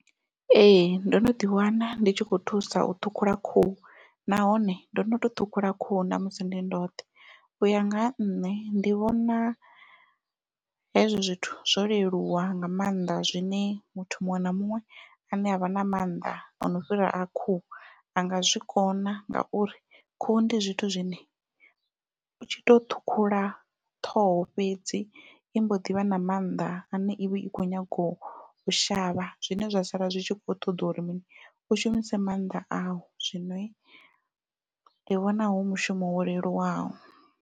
Ee ndo no ḓi wana ndi tshi kho thusa u ṱhukhula khuhu nahone ndo no to ṱhukhula khuhu ṋamusi ndi ndoṱhe, uya nga ha nṋe ndi vhona hezwo zwithu zwo leluwa nga maanḓa zwine muthu muṅwe na muṅwe ane avha na mannḓa ono fhira a khuhu a nga zwikona ngauri khuhu ndi zwithu zwine u tshi to ṱhukhula ṱhoho fhedzi i mbo ḓivha na mannḓa ane ivha i kho nyago u shavha zwine zwa sala zwi tshi kho ṱoḓa uri mini u shumise maanḓa au zwino ndi vhona hu mushumo wo leluwaho.